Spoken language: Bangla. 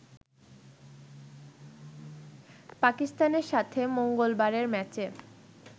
পাকিস্তানের সাথে মঙ্গলবারের ম্যাচে